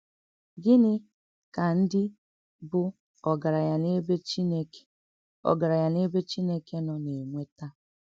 Gịnị́ kà ǹdí bụ̀ ògaránya n’èbè Chìnèké ògaránya n’èbè Chìnèké nọ nà-ènwètà?